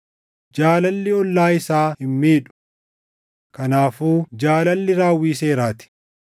Jaalalli ollaa isaa hin miidhu. Kanaafuu jaalalli raawwii seeraa ti.